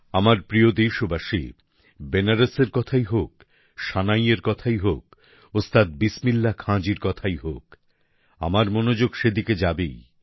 আমার প্রিয় দেশবাসী বেনারসের কথাই হোক সানাইয়ের কথাই হোক ওস্তাদ বিসমিল্লাহ খান জীর কথাই হোক আমার মনোযোগ সেদিকে যাবেই